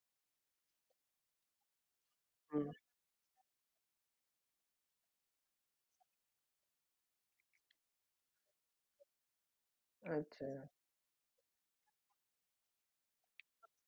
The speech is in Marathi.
sir बरोबर आहे तुमचा पण मी तुम्हाला dummy piece नाय देऊ शकत कारण amazon store मध्ये आम्ही dummy piece ठेवत नाही म्हणजे कोणी use केलेलं आम्ही कोणाला देत नाही असं वापरायला because ते ethically खूप wrong आहे आणि amazon च्या ethics मध्ये ते बसत नाही